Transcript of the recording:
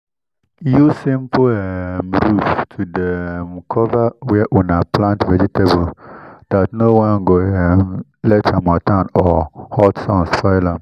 use simple um roof to dey um cover where una plant vegetables that one no ge um let harmattan or hot sun spoil am.